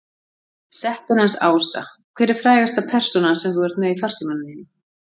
Settin hans Ása Hver er frægasta persónan sem þú ert með í farsímanum þínum?